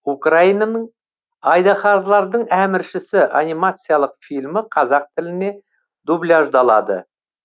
украинаның айдаһарлардың әміршісі анимациялық фильмі қазақ тіліне дубляждалады